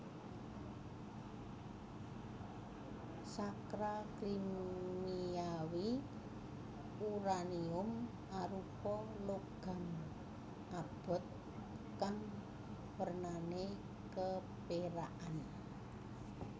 Sacra Kimiawi uranium arupa logam abot kang wernané kepérakan